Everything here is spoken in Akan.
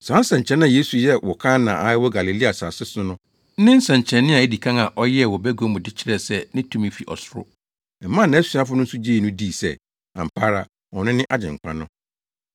Saa nsɛnkyerɛnne a Yesu yɛɛ wɔ Kana a ɛwɔ Galilea asase so no ne nsɛnkyerɛnne a edi kan a ɔyɛɛ wɔ bagua mu de kyerɛɛ sɛ ne tumi fi ɔsoro. Ɛmaa nʼasuafo no nso gyee no dii sɛ, ampa ara, ɔno ne Agyenkwa no.